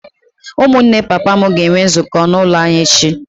Ụmụnne papa m ga-enwe nzukọ n’ụlọ anyị echi.